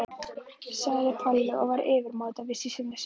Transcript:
sagði Palli og var yfirmáta viss í sinni sök.